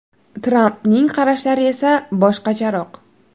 Trampning qarashlari esa boshqacharoq.